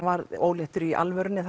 varð óléttur í alvörunni